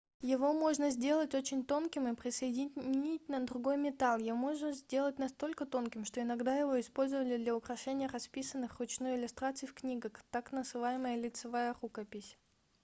его можно сделать очень тонким и присоединить на другой метал его можно сделать настолько тонким что иногда его использовали для украшения расписанных вручную иллюстраций в книгах так называемая лицевая рукопись